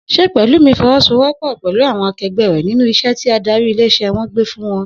S̩e Pè̩lúmi fo̩wó̩sowó̩pò̩ pè̩lú àwo̩n ake̩gbé̩ rè̩ nínú is̩é̩ tí adarí ilé is̩é̩ wo̩n gbé fún wo̩n?